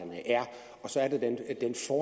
og så er